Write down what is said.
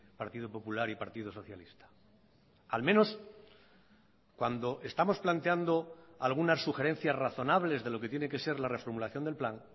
partido popular y partido socialista al menos cuando estamos planteando algunas sugerencias razonables de lo que tiene que ser la reformulación del plan